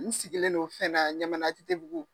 N sigilen' fana ɲamana ATTbugu